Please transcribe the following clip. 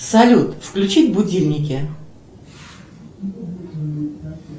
салют включить будильники